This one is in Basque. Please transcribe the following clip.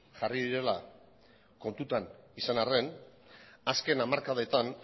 jarri direla kontuan izan arren azken hamarkadetan